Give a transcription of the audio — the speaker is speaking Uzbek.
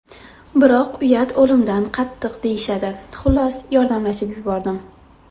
Biroq uyat o‘limdan qattiq deyishadi, xullas, yordamlashib yubordim.